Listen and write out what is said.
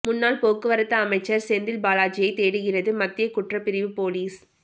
முன்னாள் போக்குவரத்து அமைச்சர் செந்தில் பாலாஜியை தேடுகிறது மத்திய குற்றப்பிரிவு போலீஸ்